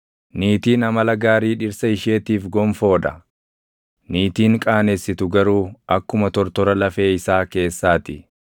Niitiin amala gaarii dhirsa isheetiif gonfoo dha; niitiin qaanessitu garuu akkuma tortora lafee isaa keessaa ti.